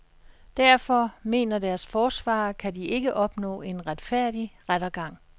Derfor, mener deres forsvarer, kan de ikke opnå en retfærdig rettergang.